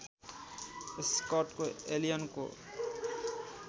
स्कटको एलियनको